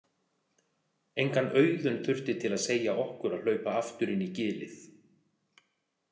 Engan Auðun þurfti til að segja okkur að hlaupa aftur inn í gilið.